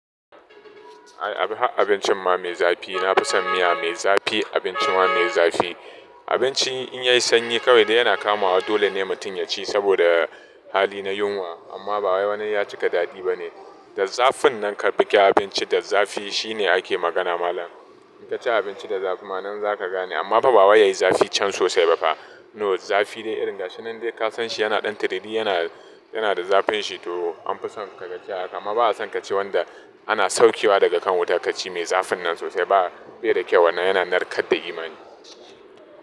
Ai ab har abincin ma mai zafi nafi son miya mai zafi abinci ma mai zafi. Abinci in yayi sanyi kawai dai yana kamawa dole ne mutum ya ci saboda hali na yunwa amma ba wani ya cika daɗi ba ne. Da zafin nan ka bige abinci da zafi shi ne ake magana malam. In ka ci abinci da zafi ma nan za ka gane amma ba bawa yayi zafi can sosai ba fa. No zafi dai irin ga shi nan dai ka san shi yana ɗan tiriri yana yana da zafin shi to an fi son ka gaja haka amma ba a son ka ci wanda ana saukewa daga kan wuta ka ci mai zafin nan sosai ba. Bai da kyau wannan yana narkar da imani.